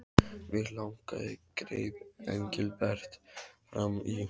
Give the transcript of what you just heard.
Mig langaði greip Engilbert fram í.